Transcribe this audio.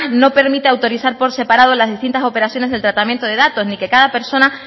no permite autorizar por separado las distintas operaciones del tratamiento de datos ni que cada persona